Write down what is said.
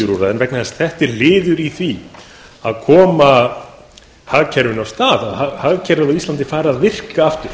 öllu því að þetta er liður í því að koma samfélaginu af stað að hagkerfið fari að virka aftur